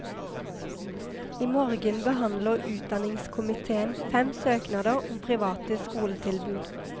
I morgen behandler utdanningskomitéen fem søknader om private skoletilbud.